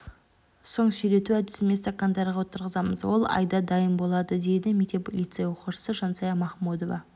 соң сирету әдісімен стакандарға отырғызамыз ол айда дайын болады дейді мектеп лицей оқушысы жансая махмудова